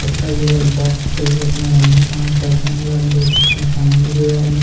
लगता है यह बॉक्स है अपना धंधा काम करते होंगे यहाँ पर देख सकते हैं सामने दे वाला मे--